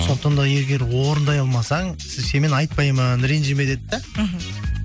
сондықтан да егер орындай алмасаң сенімен айтпаймын ренжіме деді да мхм